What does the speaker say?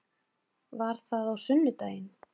Var það á sunnudaginn?